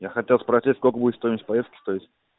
я хотел спросить сколько будет стоимость поездки стоить